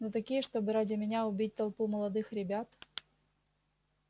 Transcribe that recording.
но такие чтобы ради меня убить толпу молодых ребят